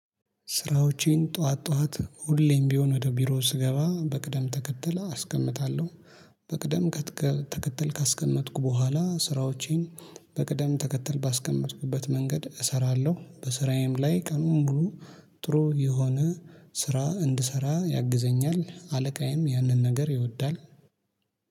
ስራዎቼን ጠዋት ጠዋት ሁሌም ቢሆን ወደ ቢሮ ስገባ በቅደም ተከተለ አስቀምጣለሁ። በቅደም ተከተል ካስቀመጥኩ በኋላ ስራዎቼን በቅደም ተከተል ባስቀመጥኩበት መንገድ እሰራለሁ። በስራዬም ላይ ቀኑን ብሎ ጥሩ የሆነ ስራ እንድሰራ ያግዘኛል። አለቃዬም ያንን ነገር ይወዳል።